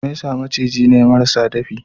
Mesa macizai ne marasa dafi.